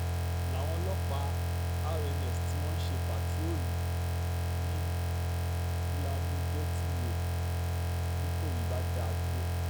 n láwọn ọlọ́pàá rns tí wọ́n ń ṣe pàtiróòlù ni vladimirty way nìkòyí bá dá a dúró